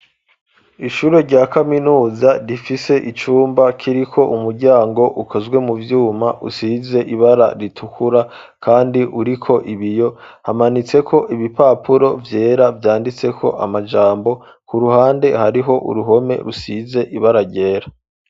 ishure rya kaminuza rifise icumba kiriko umuryango ukozwe mu vyuma usize ibara ritukura kandi uriko ibiyo hamanitseko ibipapuro vyera byanditseko amajambo ku ruhande hariho uruhome rusize ibara ryera